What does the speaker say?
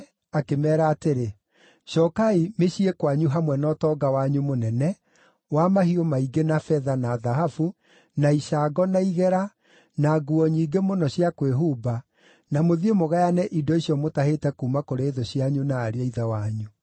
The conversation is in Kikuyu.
akĩmeera atĩrĩ, “Cookai mĩciĩ kwanyu hamwe na ũtonga wanyu mũnene, wa mahiũ maingĩ, na betha, na thahabu, na icango, na igera, na nguo nyingĩ mũno cia kwĩhumba, na mũthiĩ mũgayane indo icio mũtahĩte kuuma kũrĩ thũ cianyu na ariũ a ithe wanyu.”